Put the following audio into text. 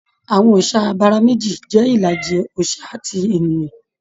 Àwọn òòsà abara meji jẹ ìlàjì òòsà àti ènìyàn.